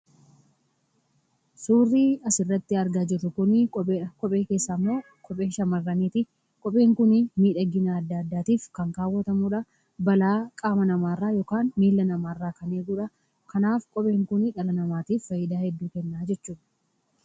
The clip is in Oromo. Suurri asirratti argaa jirru kuni kopheedha. Kophee keessaa immoo keessaa immoo kophee shamarraniiti. Kopheen kun miidhagina adda addaatiif kan kaawwatamudha. Balaa qaama namaa irraa yookaan miilla namaarraa kan eegudha. Kanaaf kopheen kuni dhala namaatiif faayidaa hedduu kennaa jechuudha.